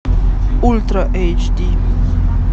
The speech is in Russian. ультра эйч ди